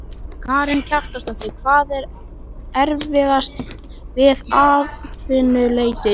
Karen Kjartansdóttir: Hvað er erfiðast við atvinnuleysið?